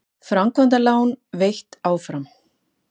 Framkvæmdalán veitt áfram